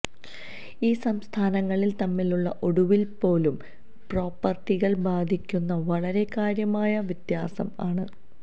ഈ സംസ്ഥാനങ്ങളിൽ തമ്മിലുള്ള ഒടുവിൽ പോലും പ്രോപ്പർട്ടികൾ ബാധിക്കുന്ന വളരെ കാര്യമായ വ്യത്യാസം ആണ്